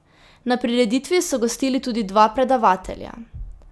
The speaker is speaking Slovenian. Na prireditvi so gostili tudi dva predavatelja.